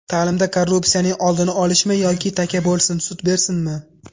Ta’limda korrupsiyaning oldini olishmi yoki taka bo‘lsin, sut bersinmi?